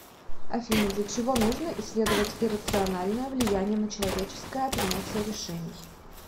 афина для чего нужно исследовать иррациональное влияние на человеческое принятие решений